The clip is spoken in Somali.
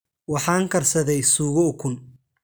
Waxaan karsaday suugo ukun